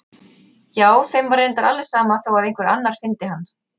Já, þeim var reyndar alveg sama þó að einhver annar fyndi hann.